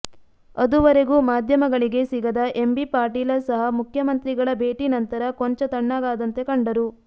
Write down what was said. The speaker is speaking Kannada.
ಅದುವರೆಗೂ ಮಾಧ್ಯಮಗಳಿಗೆ ಸಿಗದ ಎಂ ಬಿ ಪಾಟೀಲ ಸಹ ಮುಖ್ಯಮಂತ್ರಿಗಳ ಭೇಟಿ ನಂತರ ಕೊಂಚ ತಣ್ಣಗಾದಂತೆ ಕಂಡರು